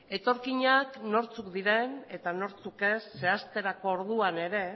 etorkinak nortzuk diren eta nortzuk ez zehazterako orduan ere